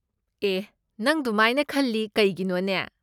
ꯑꯦꯍ, ꯅꯪ ꯗꯨꯃꯥꯏꯅ ꯈꯜꯂꯤ ꯀꯩꯒꯤꯅꯣꯅꯦ?